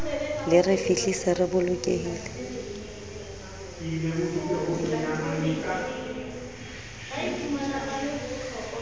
le re fihlise re bolokehile